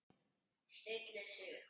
Stillir sig.